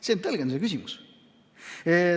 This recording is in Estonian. See on tõlgendamise küsimus.